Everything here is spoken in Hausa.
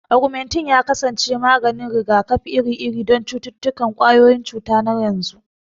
Augmentin ya kasance maganin rigakafi iri-iri don cututtukan ƙwayoyin cuta na yanzu.